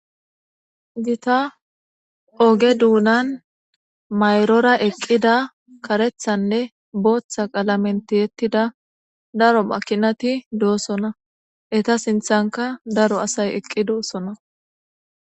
Gita oge duunan mayrora eqqida karethanne booththa qalamentiyettida daro makinati doosona eta sinthanka daro asay eqqi doossona.